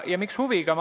Ja miks huviga?